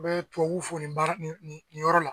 An bɛ tubabuw fo nin baara nin nin yɔrɔ la